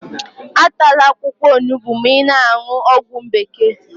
Atala akwụkwọ onugbu ma ị na-aṅụ ọgwụ bekee